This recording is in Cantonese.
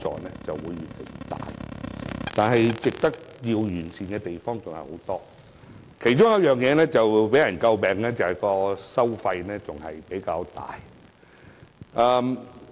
但是，強積金制度還有很多需要完善的地方，其中為人詬病的就是收費較高。